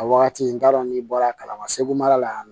A wagati n t'a dɔn n'i bɔra kalama segu mara la yan nɔ